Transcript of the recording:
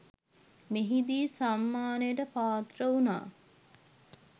මෙහිදී සම්මානයට පාත්‍ර වුණා.